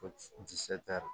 Ko